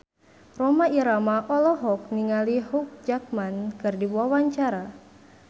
Rhoma Irama olohok ningali Hugh Jackman keur diwawancara